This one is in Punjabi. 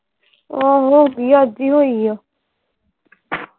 ਆਹੋ ਹੋ ਗਈ ਅੱਜ ਈ ਹੋਈ ਆ